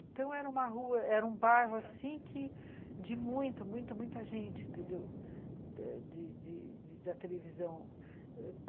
Então, era uma rua, era um bairro assim que de muita, muita gente de de da televisão